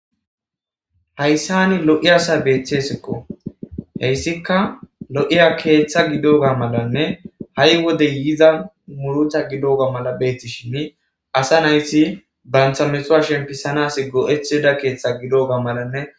Hayssani lo7i asa beeththesekko heyssika lo7iya keeththa gidoga malanne ha7i wodey yiza murucha gidoga mala beetishini asa naysi banthamesowa shempisanas go7etheda keeththa gidoga malanne.